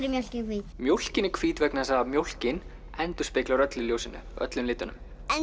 mjólkin hvít mjólkin er hvít vegna þess að mjólkin endurspeglar öllu í ljósinu öllum litunum